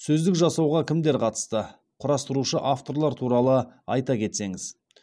сөздік жасауға кімдер қатысты құрастырушы авторлар туралы айта кетсеңіз